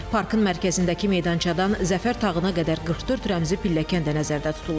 Parkın mərkəzindəki meydançadan zəfər tağına qədər 44 rəmzi pilləkən də nəzərdə tutulub.